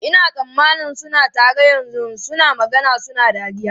Ina tsammanin suna tare yanzu, suna magana suna dariya.